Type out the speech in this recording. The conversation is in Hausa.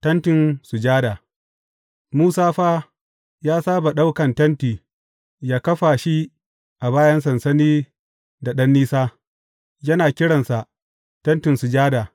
Tentin sujada Musa fa ya saba ɗaukan tenti yă kafa shi a bayan sansani da ɗan nisa, yana kiransa Tentin Sujada.